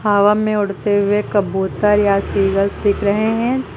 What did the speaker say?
हवा में उड़ते हुए कबूतर या ईगल दिख रहे हैं।